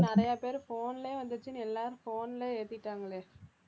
நிறைய பேர் phone லயே வந்திருச்சுன்னு எல்லாரும் phone ல ஏத்திட்டாங்களே